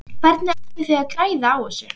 Hvernig ætlið þið að græða á þessu?